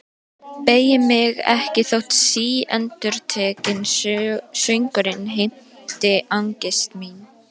Beygi mig ekki þótt síendurtekinn söngurinn heimti angist mína.